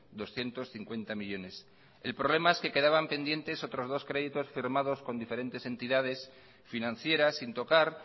doscientos cincuenta millónes el problema es que quedaban pendientes otros dos créditos firmados con diferentes entidades financieras sin tocar